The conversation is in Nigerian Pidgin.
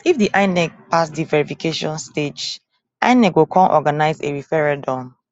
if di petition pass di verification stage inec go come organise a referendum